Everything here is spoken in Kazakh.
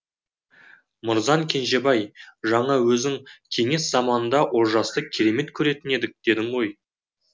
мырзан кенжебаи жаңа өзің кеңес заманында олжасты керемет көретін едік дедің